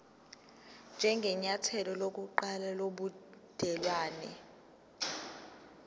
njengenyathelo lokuqala lobudelwane